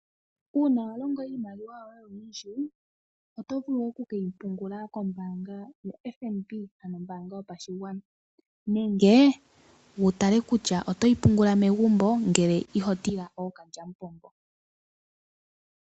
Uuna walongo iimaliwa yoye oyindji, oto vulu oku keyipungula kombanga yoFNB ano ombanga yopashigwana. Nenge, wutale kutsha otoyi pungula megumbo ngele ihotila ookalyamupombo.